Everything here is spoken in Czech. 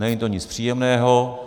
Není to nic příjemného.